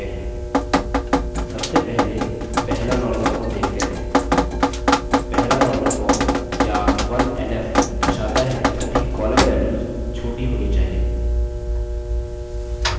सबसे पहले पहला normal form देखते हैं पहला normal form या 1nf दर्शाता है कि सभी कॉलम वेल्यूस छोटी होनी चाहिए